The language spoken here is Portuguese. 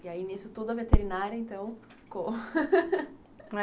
E aí, nisso tudo, a veterinária, então, ficou